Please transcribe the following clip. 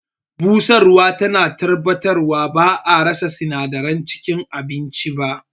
Busarwa tana tabbatarwa ba'a rasa sinadaran cikin abincin ba.